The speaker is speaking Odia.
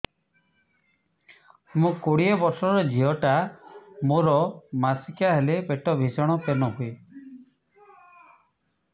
ମୁ କୋଡ଼ିଏ ବର୍ଷର ଝିଅ ଟା ମୋର ମାସିକିଆ ହେଲେ ପେଟ ଭୀଷଣ ପେନ ହୁଏ